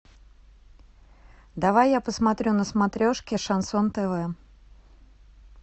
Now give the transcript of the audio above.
давай я посмотрю на смотрешке шансон тв